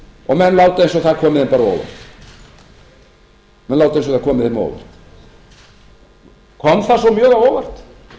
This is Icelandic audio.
og menn láta eins og það komi þeim á óvart kom það svo mjög á óvart